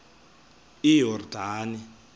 iyordane